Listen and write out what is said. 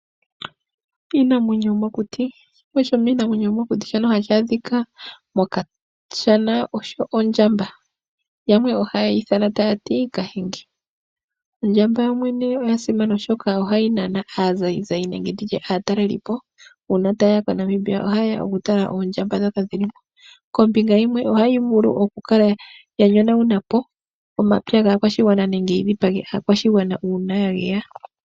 Iinamwenyo yomokuti Shimwe shomiinamwenyo yomokuti shono hashi adhika mokashana osho ondjamba. Yamwe ohaye yi ithana taya ti kahenge. Ondjamba yoyene oya simana, oshoka ohayi nana aazayizayi nenge aatalelipo. Uuna taye ya koNamibia ohaye ya okutala iinamwenyo mboka yi li mo. Kombinga yimwe ohayi vulu okukala ya yonagula po omapya gaakwashigwana nenge yi dhipage aakwashigwana uuna ya geya.